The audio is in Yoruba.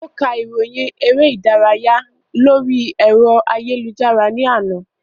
Ó ka ìròyìn eré ìdárayá lórí ẹ̀rọ ayélujára ní àná